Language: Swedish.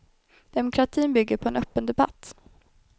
Demokratin bygger på en öppen debatt.